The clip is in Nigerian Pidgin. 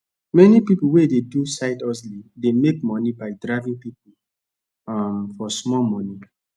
many people wey dey do side hustle dey make money by driving people um for small money